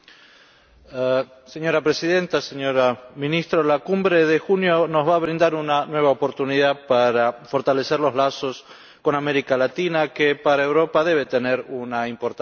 Señora Presidenta, señora Ministra, la Cumbre de junio nos va a brindar una nueva oportunidad para fortalecer los lazos con América Latina, que para Europa debe tener una importancia estratégica.